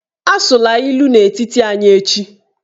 Asụla ilu n'etiti anyị echi!